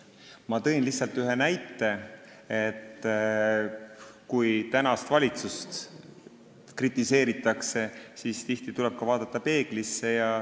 Ma tõin lihtsalt ühe näite, et kui tänast valitsust kritiseeritakse, siis tuleks tihti vaadata peeglisse.